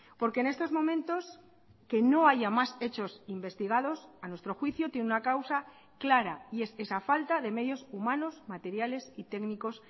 porque en estos momentos que no haya más hechos investigados a nuestro juicio tiene una causa clara y es esa falta de medios humanos materiales y técnicos